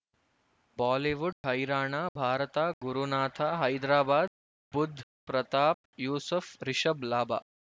Bollywood ಹೈರಾಣ ಭಾರತ ಗುರುನಾಥ ಹೈದರಾಬಾದ್ ಬುಧ್ ಪ್ರತಾಪ್ ಯೂಸುಫ್ ರಿಷಬ್ ಲಾಭ